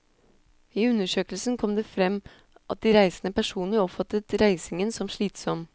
I undersøkelsen kom det frem at de reisende personlig oppfattet reisingen som slitsom.